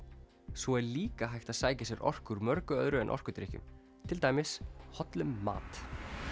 svo er líka hægt að sækja sér orku úr mörgu öðru en orkudrykkjum til dæmis hollum mat